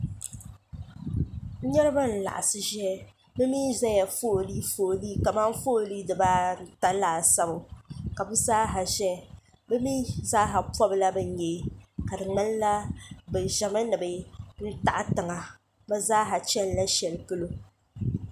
niriba n laɣisi ʒɛya be mi ʒɛla ƒɔli ƒɔli kamani ƒɔli dibaata laasabu ka be zaa sa ʒɛ pobila be nyɛi ka di nyɛla be ʒɛmi ni be taɣ' tiŋa. e zaasa chɛnila shɛli polo